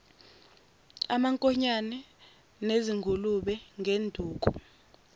amankonyane nezingulube ngenduku